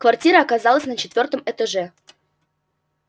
квартира оказалась на четвёртом этаже